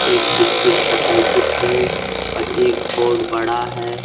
एक बिस्कुट का पैकेट है और एक बोर्ड बड़ा है।